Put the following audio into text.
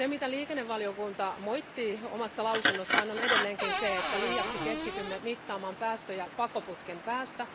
Liikennevaliokunta moittii omassa lausunnossaan edelleenkin sitä, että liiaksi keskitymme mittaamaan päästöjä pakoputken päästä.